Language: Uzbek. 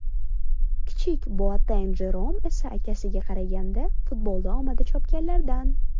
Kichik Boateng Jerom esa akasiga qaraganda futbolda omadi chopganlardan.